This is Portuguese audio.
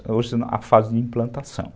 Hoje é a fase de implantação.